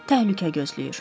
Təhlükə gözləyir.